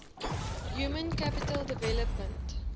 human capital development